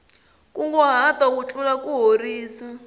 nkunguhato wu tlula kuhorisa